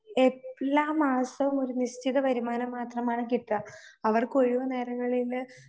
എല്ലാ മാസവും ഒരു നിശ്ചിത വരുമാനം മാത്രമാണ് കിട്ടുക. അവർക്ക് ഒഴിവുനേരങ്ങളില്